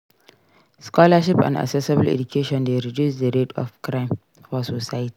Scholarship and accessible education de reduce the rate of crime for society